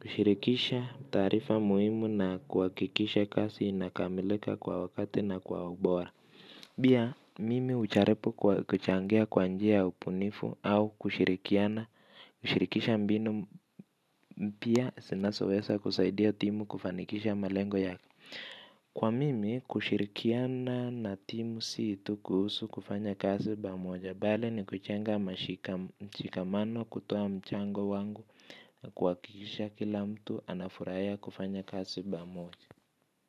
Kushirikisha taarifa muhimu na kuha kikisha kasi inakamilika kwa wakati na kwa ubora. Bia mimi ujaripu kuchangea kwanjia upunifu au kushirikiana. Kushirikisha mbinu mpia sinasowesa kusaidia timu kufanikisha malengo yaka. Kwa mimi kushirikiana na timu situ kuhusu kufanya kasi bamoja. Bale ni kujenga mchika mano kutoa mchango wangu na kuha kikisha kila mtu anafurahia kufanya kasi bamoja.